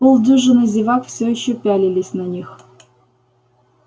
полдюжины зевак всё ещё пялились на них